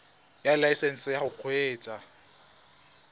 ya laesesnse ya go kgweetsa